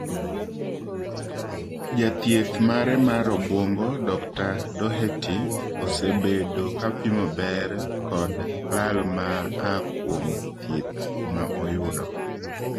Jathieth mare mar obwongo Dokta Doherty osebedo kapimo ber kod lal ma aa kuom thieth ma oyudo.